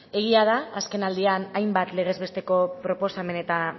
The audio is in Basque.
egia da azken aldian hainbat legez besteko proposamen eta